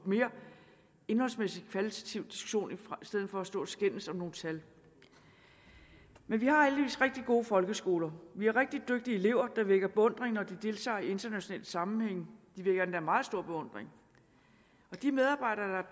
mere indholdsmæssigt kvalitativ diskussion i stedet for at stå og skændes om nogle tal men vi har heldigvis rigtig gode folkeskoler vi har rigtig dygtige elever der vækker beundring når de deltager i internationale sammenhænge de vækker endda meget stor beundring de medarbejdere der